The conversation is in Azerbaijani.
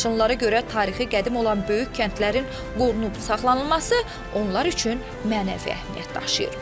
Laçınlılara görə tarixi qədim olan böyük kəndlərin qorunub saxlanılması onlar üçün mənəvi əhəmiyyət daşıyır.